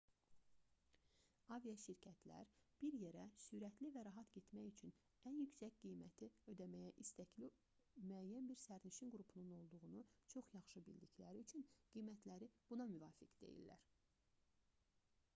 aviaşirkətlər bir yerə sürətli və rahat getmək üçün ən yüksək qiyməti ödəməyə istəkli müəyyən bir sərnişin qrupunun olduğunu çox yaxşı bildikləri üçün qiymətləri buna müvafiq deyilər